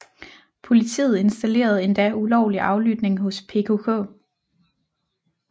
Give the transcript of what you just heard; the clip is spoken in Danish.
Politiet installerede endda ulovlig aflytning hos PKK